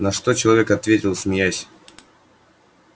на что человек ответил смеясь